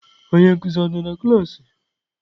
Onye nkuzi nọ na klaasị?